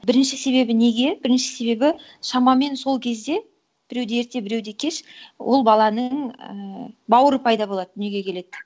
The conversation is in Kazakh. бірінші себебі неге бірінші себебі шамамен сол кезде біреуде ерте біреуде кеш ол баланың ііі бауыры пайда болады дүниеге келеді